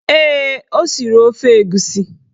Ee, o siri ofe egusi